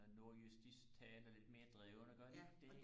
nordjysk de taler sådan lidt mere drevne gør de ikke det